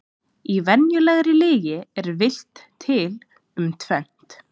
Í venjulegri lygi er villt til um tvennt.